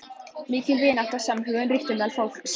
Mikil vinátta og samhugur ríkti meðal fólks.